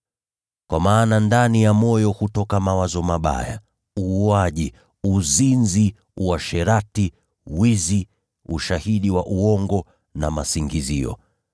Kwa maana ndani ya moyo hutoka mawazo mabaya, uuaji, uzinzi, uasherati, wizi, ushahidi wa uongo na masingizio.